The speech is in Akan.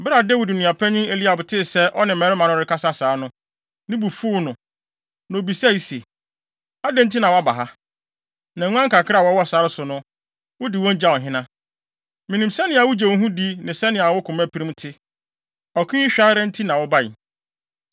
Bere a Dawid nuapanyin Eliab tee sɛ ɔne mmarima no rekasa saa no, ne bo fuw no, na obisae se, “Adɛn nti na woaba ha? Na nguan kakra a wɔwɔ sare so no, wode wɔn gyaw hena? Minim sɛnea wogye wo ho di ne sɛnea wo komapirim te. Ɔko yi hwɛ ara nti na wobae.”